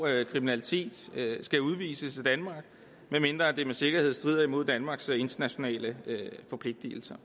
kriminalitet skal udvises af danmark medmindre det med sikkerhed strider imod danmarks internationale forpligtelser